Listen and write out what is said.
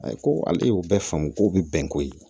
Ayi ko ala y'o bɛɛ faamu ko bi bɛn koyi